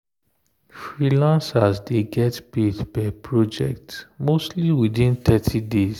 freelancers dey get paid per project mostly within thirty days.